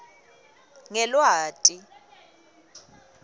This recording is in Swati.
ngelweti